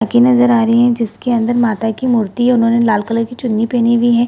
नजर आ रही है जिसके अंदर माता की मूर्ति उन्होंने लाल कलर की चुन्नी पहनी हुई है।